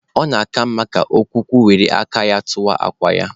Ọ na-aka mma ka ọkụkọ were aka ya tụwaa akwa ya.